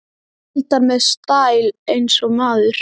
Eldar með stæl- eins og maður!